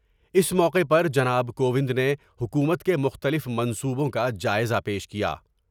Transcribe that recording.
اس موقعے پر جناب کو وند نے حکومت کے مختلف منصوبوں کا جائزہ پیش کیا ۔